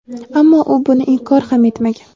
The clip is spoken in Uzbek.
ammo u buni inkor ham etmagan.